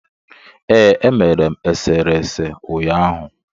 Ee, emere m eserese ụnyaahụ.